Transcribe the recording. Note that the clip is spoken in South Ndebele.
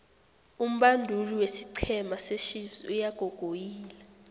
umbanduli wesiqhema sechiefs uyagogoyila